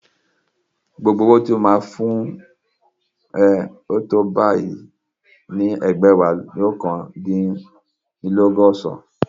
Gbogbo owó tí mo máa fún ẹ tó bá yá ni ẹgbẹ̀wáléní oókan dín ní ọgọ́san